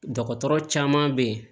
Dɔgɔtɔrɔ caman bɛ yen